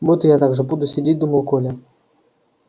вот и я так же буду сидеть думал коля